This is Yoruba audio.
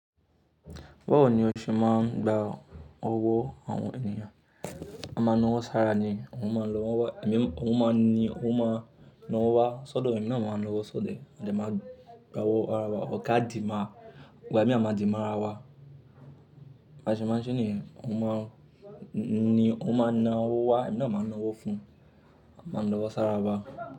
Báwo ni o ṣe máa ń gba owó àwọn ènìyàn? N máa na owó sára ni, òun máa ni òun ma na owó wá, sọ́dọ̀ èmi náà máa ń na owó sóde. Mo dẹ̀ máa ń gba owó ká dì mọ́-ọn. Ìgbà míì a máa di mára wa. Ba ṣe máa ń ṣeé nìyẹn òun máa ni òun máa na ọwọ́ wá, èmi náà máa na ọwọ́ fún-un. A máa ń nawọ́ sára wa.